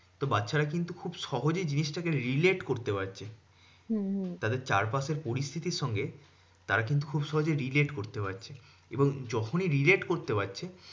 তো বাচ্চারা কিন্তু খুব সহজেই জিনিসটাকে relate করতে পারছে তাদের চারপাশের পরিস্থিতির সঙ্গে তারা কিন্তু খুব সহজেই relate করতে পারছে। এবং যখনই relate করতে পারছে